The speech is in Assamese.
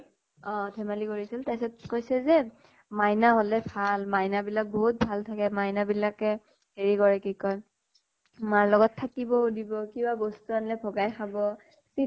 অʼ। ধেমালী কৰিছিল, তাৰপিছত কৈছে যে, মাইনা হʼলে ভাল । মাইনা বিলাক বহুত ভাল থাকে ।মাইনা বিলাকে হেৰি কৰে, কি কয়, মাৰ লগত থাকিব ও দিব কিবা বস্তু আনিলে ভগাই খাব । chips